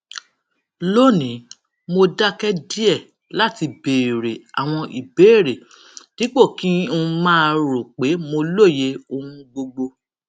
lónìí mo dáké díè láti béèrè àwọn ìbéèrè dípò kí n máa rò pé mo lóye ohun gbogbo